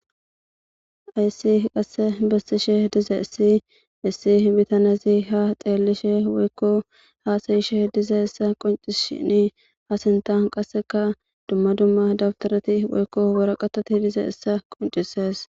Hays qase besishe dizays hesi he bittannezi ha xillishe woykko hasa'ishe dizaysa qoncisishn a sintan qaseka dumma dumma dawutarat woyko waraqatat dizaysa qoncises. ,